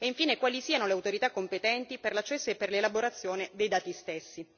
e infine quali siano le autorità competenti per l'accesso e per l'elaborazione dei dati stessi.